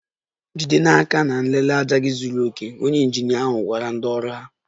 Jide n'aka na nlele ájá gị zuru oke! Onye injinia ahụ gwara ndị ọrụ ahụ.